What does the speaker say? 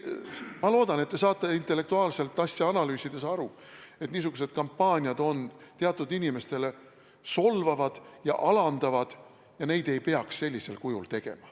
Ma loodan, et te saate intellektuaalselt asja analüüsides aru, et niisugused kampaaniad on teatud inimestele solvavad ja alandavad ning neid ei peaks sellisel kujul tegema.